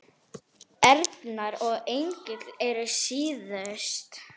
Erna og Engill eru síðust.